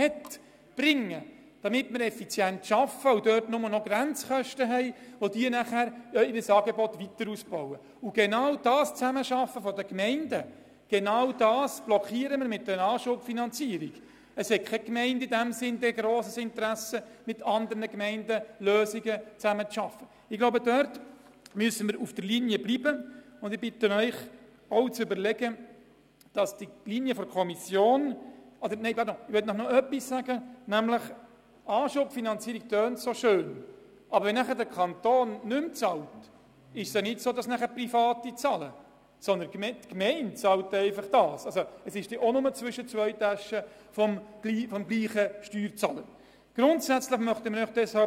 Gemeinden mit einem heute bereits bestehenden Angebot, und zwar nicht nur Bern und Biel, sondern beispielsweise auch Bolligen, Bremgarten, Erlach, Hindelbank, Kirchberg, Lyss, Moosseedorf und Münsingen würden leer ausgehen und wären, um ein anderes Wort zu gebrauchen als Herr Vanoni, die Lackierten.